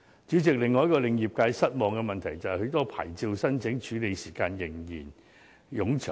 主席，另一令業界失望的問題，就是很多牌照的申請處理時間仍然冗長。